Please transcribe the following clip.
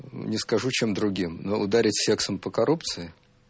не скажу чем другим но ударить сексом по коррупции